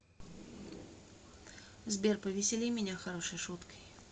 сбер повесели меня хорошей шуткой